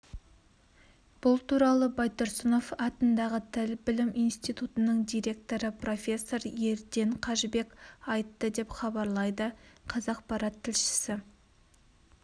бұл туралы байтұрысынов атындағы тіл білім институтының директоры профессор ерден қажыбек айтты деп хабарлайды қазақпарат тілшісі